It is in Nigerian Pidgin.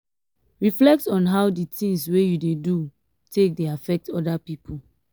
reflect on how di things wey you dey do take dey affect oda pipo